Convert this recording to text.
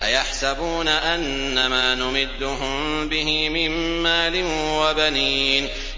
أَيَحْسَبُونَ أَنَّمَا نُمِدُّهُم بِهِ مِن مَّالٍ وَبَنِينَ